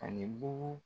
Ani bugu